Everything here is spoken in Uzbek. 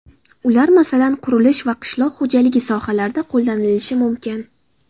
Ular, masalan, qurilish va qishloq xo‘jaligi sohalarida qo‘llanilishi mumkin.